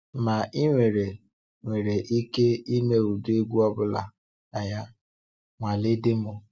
Ma i nwere nwere ike ịme ụdị egwu ọ bụla na ya, nwalee déémọ́.